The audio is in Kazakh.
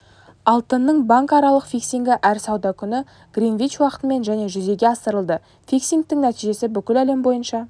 алтынның банкаралық фиксингі әр сауда күні гринвич уақытымен және жүзеге асырылады фиксингтің нәтижесі бүкіл әлем бойынша